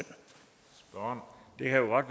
når vi laver